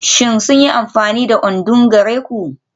Shin sun yi amfani da odunng gare ku?